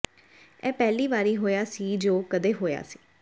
ਇਹ ਪਹਿਲੀ ਵਾਰੀ ਹੋਇਆ ਸੀ ਜੋ ਕਦੇ ਹੋਇਆ ਸੀ